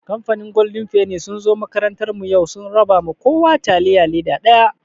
Kamfanin golden feni sun zo makarantar mu yau, sun raba ma kowa taliya leda ɗaya.